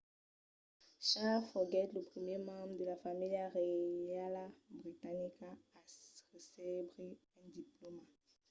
charles foguèt lo primièr membre de la familha reiala britanica a recebre un diplòma